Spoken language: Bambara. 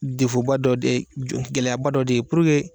ba dɔ de jo gɛlɛyaba dɔ de ye